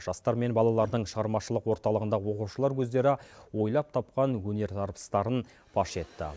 жастар мен балалардың шығармашылық орталығында оқушылар өздері ойлап тапқан өнер дарбыстарын паш етті